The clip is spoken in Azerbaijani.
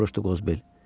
Soruşdu Qozbel.